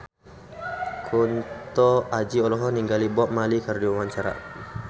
Kunto Aji olohok ningali Bob Marley keur diwawancara